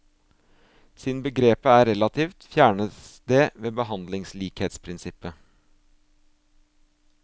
Siden begrepet er relativt, fjernes det ved behandlingslikhetsprinsippet.